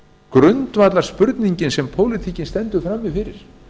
grundvallarspurningin sem pólitíkin stendur frammi fyrir